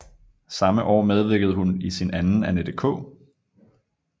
Samme år medvirkede hun i sin anden Annette K